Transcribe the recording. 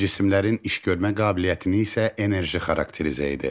Cisimlərin işgörmə qabiliyyətini isə enerji xarakterizə edir.